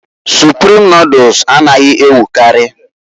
Suprim nodul anaghị ewukarị.